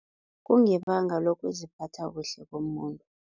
Kungebanga lokuziphatha kuhle komuntu.